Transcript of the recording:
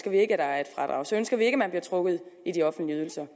vi ikke at der er et fradrag så ønsker vi ikke at man bliver trukket i de offentlige ydelser